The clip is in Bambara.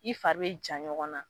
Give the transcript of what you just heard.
I fari be ja ɲɔgɔnna.